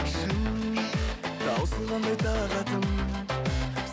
шын таусылғандай тағатым